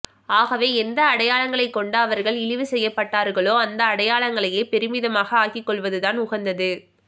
ஆகவே எந்த அடையாளங்களைக் கொண்டு அவர்கள் இழிவு செய்யப்பட்டார்களோ அந்த அடையாளங்களையே பெருமிதமாக ஆக்கிக்கொள்வதுதான் உகந்தது